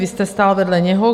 Vy jste stál vedle něho.